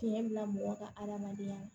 Tiɲɛ bila mɔgɔ ka adamadenya la